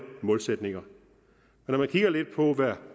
målsætninger når man kigger lidt på hvad